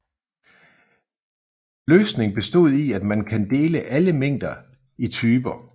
Løsning bestod i at man kan dele alle mængder i typer